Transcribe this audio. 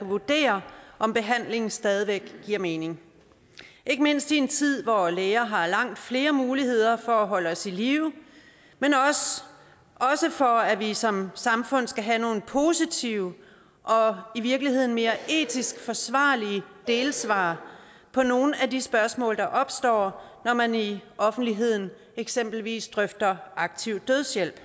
vurdere om behandlingen stadig væk giver mening ikke mindst i en tid hvor læger har langt flere muligheder for at holde os i live men også for at vi som samfund skal have nogle positive og i virkeligheden mere etisk forsvarlige delsvar på nogle af de spørgsmål der opstår når man i offentligheden eksempelvis drøfter aktiv dødshjælp